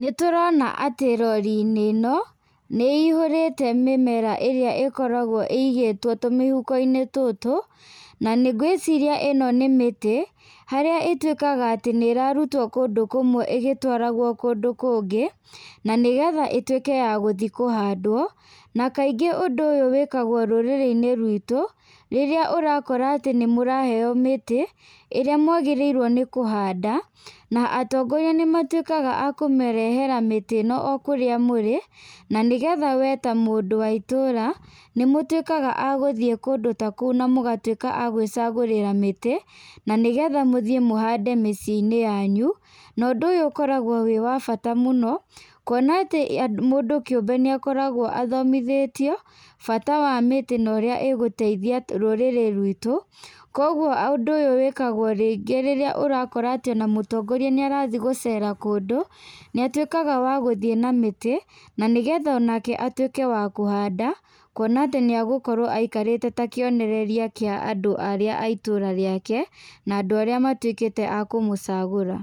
Nĩ tũrona atĩ rori-inĩ ĩno nĩ ĩihũrĩte mĩmera ĩrĩa ĩkoragwo ĩigĩtwo tũmĩhuko-inĩ tũtũ na ngwĩciria ĩno nĩ mĩtĩ. Harĩa ĩtuĩkaga atĩ nĩ ĩrarutwo kũndũ kũmwe ĩgĩtwaragwo kũndũ kũngĩ na nĩ getha ĩtuĩke ya gũthiĩ kũhandwo. Na kaingĩ ũndũ ũyũ wĩkagwo rũrĩrĩ-inĩ ruitũ rĩrĩa ũrakora atĩ nĩ mũraheo mĩtĩ ĩrĩa mwagĩrĩirwo nĩ kũhanda na atongoria nĩ matuĩkaga akũmarehera mĩtĩ ĩno o kũrĩa mũrĩ na nĩgetha we ta mũndũ wa tũra, nĩ mũtuĩkaga agũthiĩ kũndũ ta kũu na mũgatuĩka agwĩcagĩrĩra mĩtĩ. Na nĩ getha mũthiĩ mũhande mĩciĩ-inĩ yanyu. Na ũndũ ũyũ ukoragwo wĩ wa bata muno kuona atĩ mũndũ kĩũmbe nĩ akoragwo athomithĩtio bata wa mĩtĩ na ũrĩa ĩgũteithia rũrĩrĩ ruitũ. Koguo ũndũ ũyũ wĩkagwo rĩngĩ rĩrĩa ũrakora atĩ ona mũtongoria nĩ arathiĩgũcera kũndũ, nĩ atuĩkaga wa gũthiĩ na mĩtĩ na nĩ getha onake atuĩke wa kũhanda. Kuona atĩ nĩ egũkorwo aikarĩte ta kĩega kĩa andũ arĩa a itũra rĩake na andũ arĩa matuĩkĩte akũmũcagũra.